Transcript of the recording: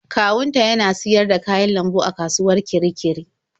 Kawunta yana siyar da kayan lambu a kasuwar Kirikiri.